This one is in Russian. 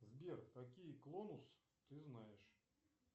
сбер какие клонус ты знаешь